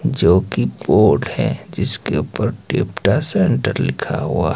जो की बोर्ड है जिसके ऊपर सेंटर लिखा हुआ--